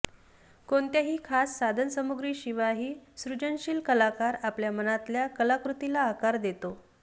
कोणत्याही खास साधनसामुग्रीशिवायही सृजनशील कलाकार आपल्या मनातल्या कलाकृतीला आकार देतो